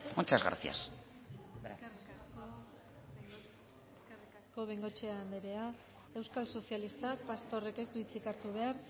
muchas gracias eskerrik asko bengoechea anderea euskal sozialistak pastorrek ez du hitzik hartu behar